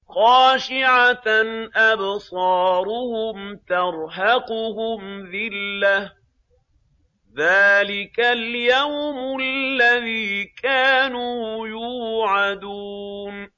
خَاشِعَةً أَبْصَارُهُمْ تَرْهَقُهُمْ ذِلَّةٌ ۚ ذَٰلِكَ الْيَوْمُ الَّذِي كَانُوا يُوعَدُونَ